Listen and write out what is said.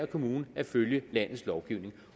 kommune at følge landets lovgivning